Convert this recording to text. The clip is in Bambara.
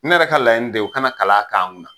Ne yɛrɛ ka laɲini de ye u kana kalan k'an kun na.